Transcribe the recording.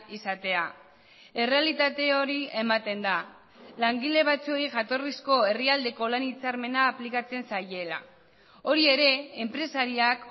izatea errealitate hori ematen da langile batzuei jatorrizko herrialdeko lan hitzarmena aplikatzen zaiela hori ere enpresariak